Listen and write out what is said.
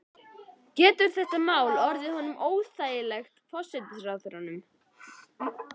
Getur þetta mál ekki orðið honum óþægilegt, forsætisráðherranum?